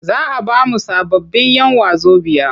Za a ba mu sababbin'yan wazobiya.